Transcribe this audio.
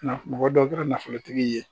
Nka mɔgɔ dɔ bɛ kɛ nafolotigi ye